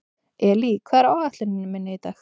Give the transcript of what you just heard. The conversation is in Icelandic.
Elí, hvað er á áætluninni minni í dag?